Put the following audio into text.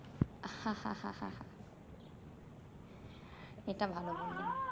এটা ভালো বললেন